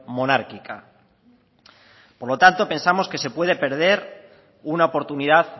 monárquica por lo tanto pensamos que se puede perder una oportunidad